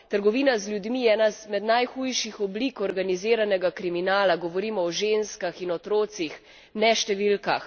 Trgovina z ljudmi je ena izmed najhujših oblik organiziranega kriminala, govorimo o ženskah in otrocih, ne številkah.